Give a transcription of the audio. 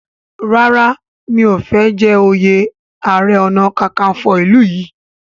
ràrá o mi'o fè jé oyè aré ọnà kankanfo ilú yí.